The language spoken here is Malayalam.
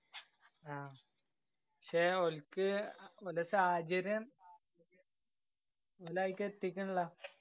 ആഹ് ക്ഷേ ഓല്ക്ക് ഓല സാഹചര്യം ഓലെ അയില്‍ക്ക് എത്തിക്കണില്ലാ.